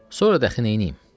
Sonra daxı neyləyim?